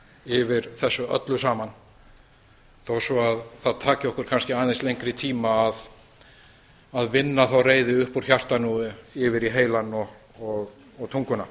yfir þessu öllu saman þó svo það taki okkur kannski aðeins lengri tíma að vinna þá reiði upp úr hjartanu og yfir í heilann og tunguna